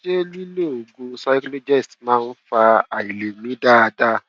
ṣé lílo oògùn cyclogest máa ń fa àìlè mí dáadáa